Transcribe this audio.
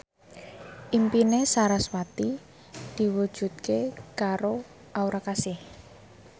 impine sarasvati diwujudke karo Aura Kasih